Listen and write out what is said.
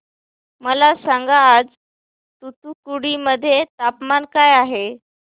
मला सांगा आज तूतुकुडी मध्ये तापमान काय आहे